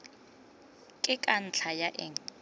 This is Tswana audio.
ke ka ntlha ya eng